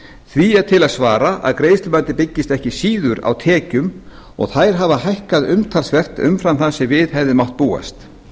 því er til að svara að greiðslumatið byggist ekki síður á tekjum og þær hafa hækkað umtalsvert umfram það sem við hefði mátt búast